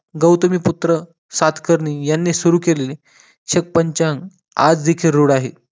गौतमीपुत्र सातकर्णी यांनी सुरू केलेल छप्पन चांग आज देखील रूढ आहेत